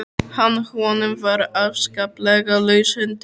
Að honum var afskaplega laus höndin.